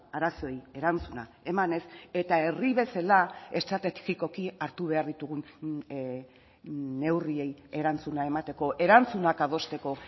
arazoei erantzuna emanez eta herri bezala estrategikoki hartu behar ditugun neurriei erantzuna emateko erantzunak adosteko